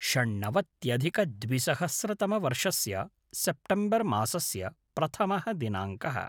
षण्णवत्यधिकद्विसहस्रतमवर्षस्य September मासस्य प्रथमः दिनाङ्कः